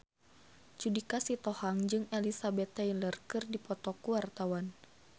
Judika Sitohang jeung Elizabeth Taylor keur dipoto ku wartawan